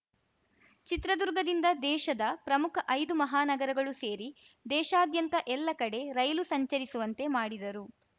ಚಿತ್ರದುರ್ಗದಿಂದ ದೇಶದ ಪ್ರಮುಖ ಐದು ಮಹಾನಗರಗಳು ಸೇರಿ ದೇಶಾದ್ಯಂತ ಎಲ್ಲ ಕಡೆ ರೈಲು ಸಂಚರಿಸುವಂತೆ ಮಾಡಿದರು